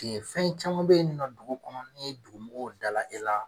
fɛn caman be yen nɔ dugu kɔnɔ ni ye dugu mɔgɔw dalajɛ la